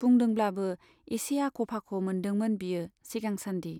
बुंदोंब्लाबो एसे आख' फाख ' मोनदोंमोन बियो सिगांसान्दि।